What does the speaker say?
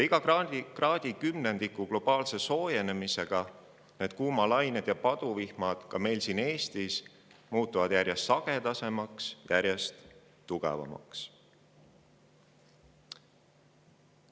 Iga kraadikümnendiku globaalse soojenemisega muutuvadki kuumalained ja paduvihmad ka meil siin Eestis järjest sagedasemaks ja tugevamaks.